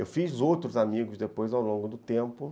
Eu fiz outros amigos depois ao longo do tempo.